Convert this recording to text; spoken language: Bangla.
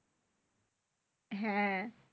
হ্যাঁ